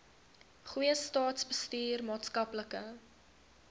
goeie staatsbestuur maatskaplike